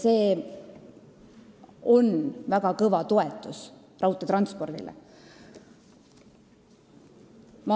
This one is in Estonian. See on väga kõva toetus raudteetranspordile.